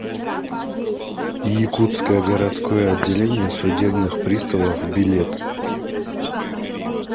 якутское городское отделение судебных приставов билет